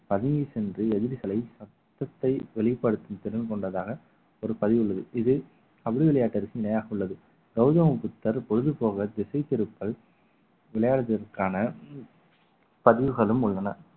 பதுங்கி சென்று எதிரிகளை சத்தத்தை வெளிப்படுத்தும் திறன் கொண்டதாக ஒரு பதிவு உள்ளது இதில் கபடி விளையாட்டு அதுக்கு நிலையாக உள்ளது கௌதம புத்தர் பொழுது போக திசை திருப்பல் விளையாடுவதற்கான பதிவுகளும் உள்ளன